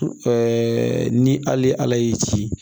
ni hali ala y'i ci